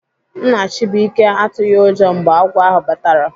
Nna Chubuike atụghị ụjọ mgbe agwọ ahụ batara.